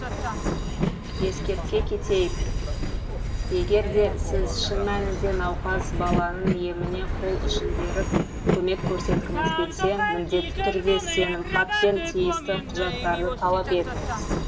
ескерте кетейік егер де сіз шын мәнінде науқас баланың еміне қол ұшын беріп көмек көрсеткіңіз келсе міндетті түрде сенімхат пен тиісті құжаттарды талап етіңіз